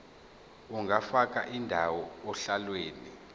ungafaka indawo ohlelweni